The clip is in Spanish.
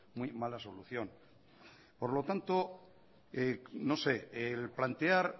muy mala solución por lo tanto no sé el plantear